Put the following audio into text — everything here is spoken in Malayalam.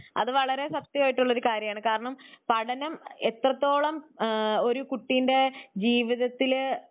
അത് വളരെ സത്യമായിട്ടുള്ളൊരു കാര്യമാണ്. കാരണം പഠനം എത്രത്തോളം ആ ഒരു കുട്ടിന്റെ ജീവിതത്തില്